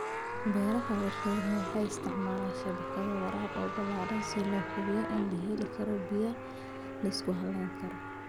Beeraha warshaduhu waxay isticmaalaan shabakado waraab oo ballaadhan si loo hubiyo in la helo biyo la isku halayn karo.